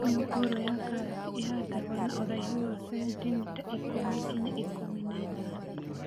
Mĩũngũrwa ya karati ĩhandagwo na ũraihu wa cenitimita ikũmi nginya ikũmi na ithano